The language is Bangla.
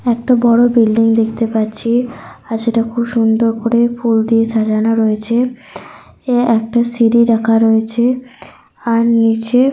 একটা বড় বিল্ডিং দেখতে পাচ্ছি। আর সেটা খুব সুন্দর করে ফুল দিয়ে সাজানো রয়েছে। এ একটা সিড়ি রাখা রয়েছে। আর নিচে।